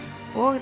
og